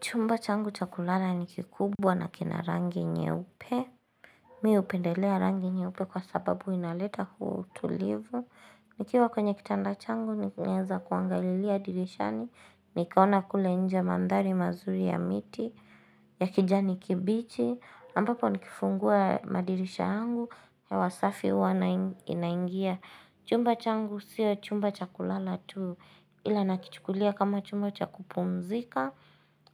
Chumba changu chakulala ni kikubwa na kina rangi nyeupe. Chumba changu chakulala ni kikubwa na kina rangi nyeupe. Nikiwa kwenye kichanda changu, naeza kuangailia dirishani. Nikaona kule nje mandhari mazuri ya miti, ya kijani kibichi. Ampapo nikifungua madirisha angu hewa safi huwa inaingia Chumba changu siya chumba chakulala tu. Ila nakichukulia kama chumba cha kupumzika